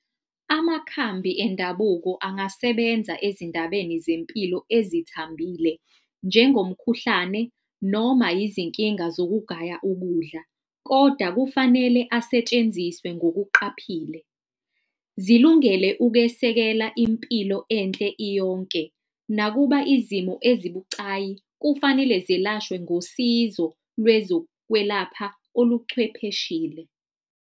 Amakhambi endabuko angasebenza ezindabeni zempilo ezithambile, njengomkhuhlane noma izinkinga zokugaya ukudla. Kodwa kufanele asetshenziswe ngokuqaphile, zilungele ukwesekelwa impilo enhle iyonke. Nakuba izimo ezibucayi kufanele zilashwe ngosizo lwezokwelapha oluchwepheshile.